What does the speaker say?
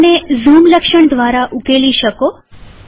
તમે આને ઝૂમ લક્ષણ દ્વારા ઉકેલી શકો